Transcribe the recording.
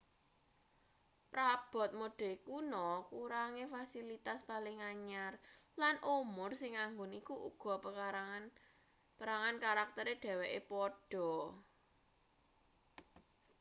prabot mode kuna kurange fasilitas paling anyar lan umur sing anggun iku uga perangan karaktere dheweke padha